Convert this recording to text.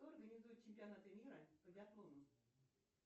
кто организует чемпионаты мира по биатлону